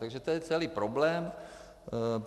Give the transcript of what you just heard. Takže to je celý problém.